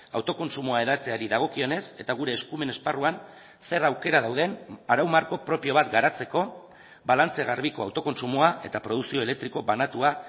autokontsumoa hedatzeari dagokionez eta gure eskumen esparruan zer aukera dauden arau marko propio bat garatzeko balantze garbiko autokontsumoa eta produkzio elektriko banatua